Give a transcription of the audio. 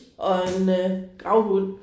Og en øh gravhund